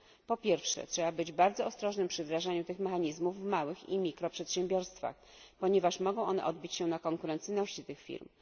Po pierwsze, trzeba być bardzo ostrożnym przy wdrażaniu tych mechanizmów w małych i mikro przedsiębiorstwach, ponieważ mogą one odbić się na konkurencyjności tych firm.